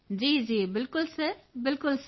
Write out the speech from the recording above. ਜੀ ਜੀ ਬਿਲਕੁਲ ਸਰ ਬਿਲਕੁਲ ਸਰ